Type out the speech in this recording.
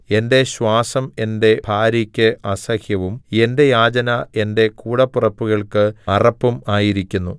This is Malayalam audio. എന്റെ ശ്വാസം എന്റെ ഭാര്യയ്ക്ക് അസഹ്യവും എന്റെ യാചന എന്റെ കൂടപ്പിറപ്പുകൾക്ക് അറപ്പും ആയിരിക്കുന്നു